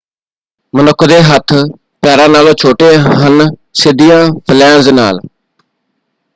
ਮਨੁੱਖ ਦੇ ਹੱਥ ਪੈਰਾਂ ਨਾਲੋਂ ਛੋਟੇ ਹਨ ਸਿੱਧੀਆਂ ਫੇਲੈਂਂਜ਼ ਨਾਲ।